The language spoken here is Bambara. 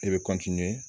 I bɛ